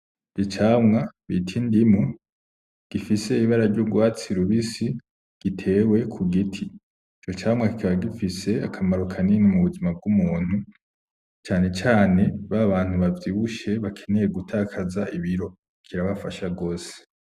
Icamwa bita indimu gifise ibara ry'urwatsi rubisi gitewe ku giti, ico camwa kikaba gifise akamaro kanini mu buzima bw'umuntu, cane cane babantu bavyibushe bakeneye gutakaza ibiro kirabafasha gose.